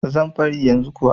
Zan bari yanzu kuwa.